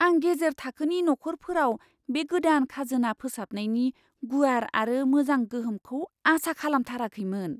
आं गेजेर थाखोनि नखरफोराव बे गोदान खाजोना फोसाबनायनि गुवार आरो मोजां गोहोमखौ आसा खालामथाराखैमोन!